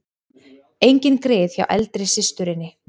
Engin grið hjá eldri systurinni